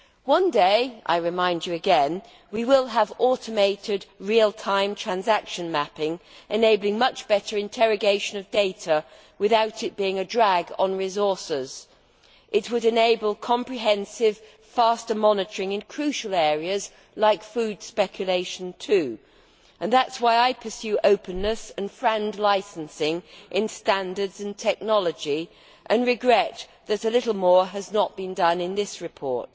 One day, I remind you again, we will have automated real time transaction mapping, enabling much better interrogation of data without it being a drag on resources. It would also enable comprehensive, faster monitoring in crucial areas like food speculation, and that is why I pursue openness and FRAND licensing in standards and technology and regret that a little more has not been done in this report.